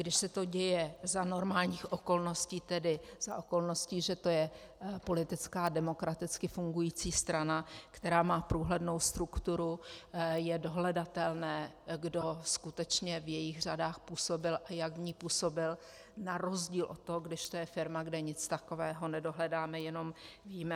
Když se to děje za normálních okolností, tedy za okolností, že je to politická demokraticky fungující strana, která má průhlednou strukturu, je dohledatelné, kdo skutečně v jejích řadách působil a jak v ní působil, na rozdíl od toho, když to je firma, kde nic takového nedohledáme, jenom víme.